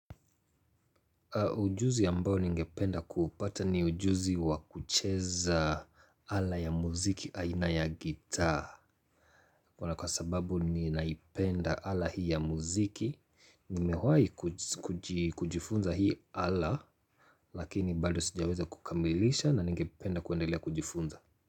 Ujuzi ambao ningependa kupata ni ujuzi wa kucheza ala ya muziki aina ya gita. Kwa na kwa sababu ni naipenda ala hii ya muziki, nimewahi kujifunza hii ala, lakini bado sijaweza kukamilisha na ningependa kuendelea kujifunza.